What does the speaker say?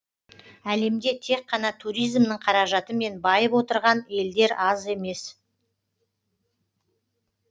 әлемде тек қана туризмнің қаражатымен байып отырған елдер аз емес